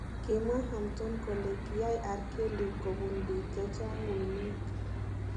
Kimwaa Hampton kole kiyaai R Kelly kobun biik chechang uinweek..